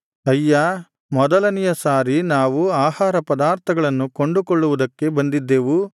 ಅಯ್ಯಾ ಮೊದಲನೆಯ ಸಾರಿ ನಾವು ಆಹಾರ ಪದಾರ್ಥಗಳನ್ನು ಕೊಂಡುಕೊಳ್ಳುವುದಕ್ಕೆ ಬಂದಿದ್ದೇವು